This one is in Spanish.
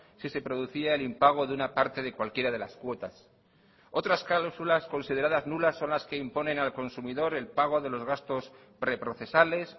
si se producía el impago de una parte de cualquiera de las cuotas otras cláusulas consideradas nulas son las que imponen al consumidor el pago de los gastos preprocesales